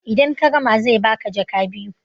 idan ka gama zai baka jaka biyu